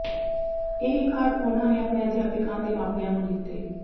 ਇਹ ਕਾਰਡ ਉਨ੍ਹਾਂ ਨੇ ਆਪਣੇ ਅਧਿਆਪਕਾਂ ਤੇ ਮਾਪਿਆਂ ਨੂੰ ਦਿੱਤੇ